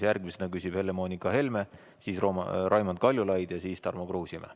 Järgmisena küsib Helle-Moonika Helme, siis Raimond Kaljulaid ja siis Tarmo Kruusimäe.